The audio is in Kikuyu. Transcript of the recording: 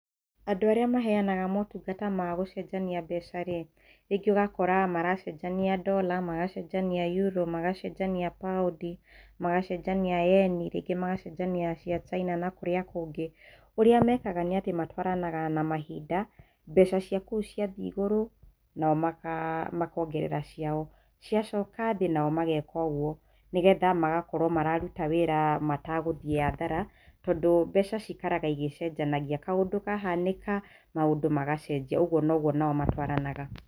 Andũ arĩa mahenaga motungata ma gũcenjania mbeca-rĩ, rĩngĩ ũgakora maracenjania Dollar, magacenjania Euro, magacenjania Pound, magacenjania Yen, rĩngĩ magacenjania cia China na kũrĩa kũngĩ, ũrĩa mekaga nĩ atĩ matwaranaga na mahinda, mbeca cia kou ciathiĩ igũrũ, nao makongerera ciao, ciacoka thĩ, nao mageka oguo, nĩgetha magakorwo mararuta wĩra matagũthiĩ hathara tondũ mbeca cikaraga igĩcenjanagia, kaũndũ kahanĩka, maũndũ magacenjia, oguo noguo o nao matwaranaga.